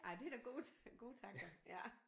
Ej det er da gode gode tanker ja